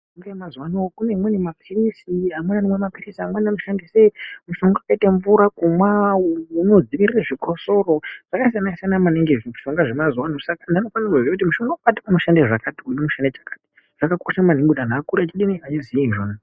Mishonga yemazuwano kune imweni mapilisi amweni anomwa mapilisi mushonga wakaite mvura kumwa unodziwirira zvikosoro zvakasiyana siyana maningi zvimishonga zvemazuwano saka vantu vanofanire kuziya kuti mushonga wakati unoshande zvakati uyu unoshande chakati zvakakosha maningi kuti antu akure achidini achiziye izvona.